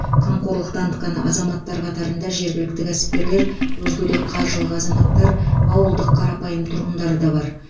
қамқорлық танытқан азаматтар қатарында жергілікті кәсіпкерлер өзге де қаржылық азаматтар ауылдық қарапайым тұрғындары да бар